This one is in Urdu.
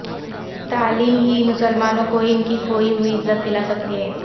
تعلیم ہی مسلمانوں کو ان کی کھوئی ہوئی عزت دلا سکتی ہے